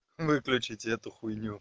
выключите эту хуйню